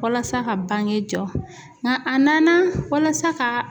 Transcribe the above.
Walasa ka bange jɔ nga a nana walasa ka